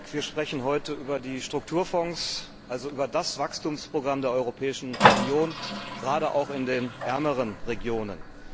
Wir sprechen heute über die Strukturfonds, also über das Wachstumsprogramm der Europäischen Union, gerade auch in den ärmeren Regionen.